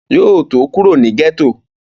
Yóò tó kúrò ní gẹ́tò